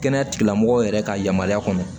Kɛnɛya tigilamɔgɔw yɛrɛ ka yamaruya kɔnɔ